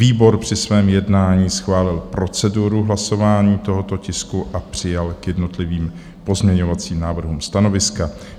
Výbor při svém jednání schválil proceduru hlasování tohoto tisku a přijal k jednotlivým pozměňovacím návrhům stanoviska.